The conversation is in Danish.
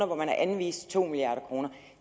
man har anvist to milliard kroner